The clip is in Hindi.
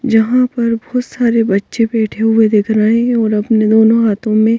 जहाँ पर बहुत सारे बच्चे बैठे हुए दिख रहे हैं और अपने दोनों हाथों में--